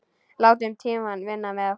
Látum tímann vinna með okkur.